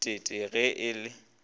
t t ge a le